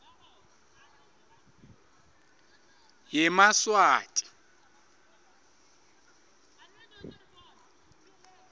yemaswati